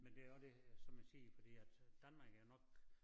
Men det jo også det som jeg siger fordi at Danmark er nok